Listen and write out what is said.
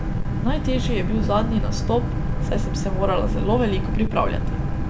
Najtežji je bil zadnji nastop, saj sem se morala zelo veliko pripravljati.